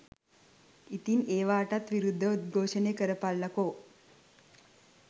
ඉතින් ඒවටත් විරුද්ධව උද්ඝෝෂණය කරපල්ල කො.